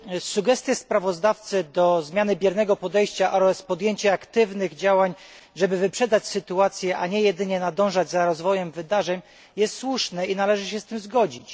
Sugestie sprawozdawcy dotyczące zmiany biernego podejścia oraz podjęcia aktywnych działań, żeby wyprzedzać sytuację, a nie jedynie nadążać za rozwojem wydarzeń, są słuszne i należy się z nimi zgodzić.